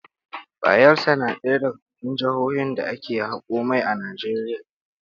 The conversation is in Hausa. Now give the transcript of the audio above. Bayelsa na ɗaya daga cikin jihohin da ake haƙo mai a Najeriya.